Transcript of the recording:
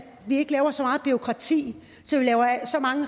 lave så meget bureaukrati